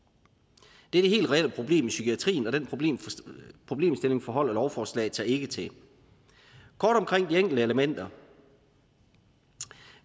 det er det helt reelle problem i psykiatrien og den problemstilling forholder lovforslaget sig ikke til kort omkring de enkelte elementer